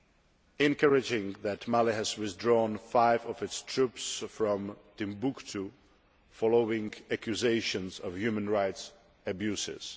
It is encouraging that Mali has withdrawn five of its troops from Timbuktu following accusations of human rights abuses.